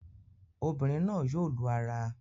Obìnrin náà yóò lu ara